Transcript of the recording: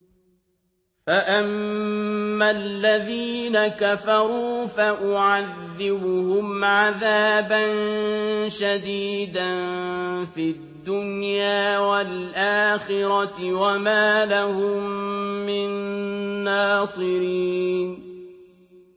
فَأَمَّا الَّذِينَ كَفَرُوا فَأُعَذِّبُهُمْ عَذَابًا شَدِيدًا فِي الدُّنْيَا وَالْآخِرَةِ وَمَا لَهُم مِّن نَّاصِرِينَ